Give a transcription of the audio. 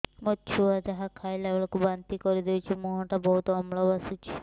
ମୋ ଛୁଆ ଯାହା ଖାଇଲା ବେଳକୁ ବାନ୍ତି କରିଦଉଛି ମୁହଁ ଟା ବହୁତ ଅମ୍ଳ ବାସୁଛି